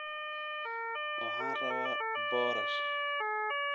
Waxaan rabaa boorash